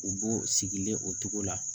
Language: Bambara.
U b'o sigilen o cogo la